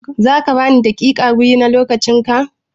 Za ka ban daƙiƙa biyu na lokacin ka?